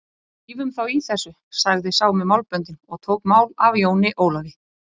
Drífum þá í þessu, sagði sá með málböndin og tók mál af Jóni Ólafi.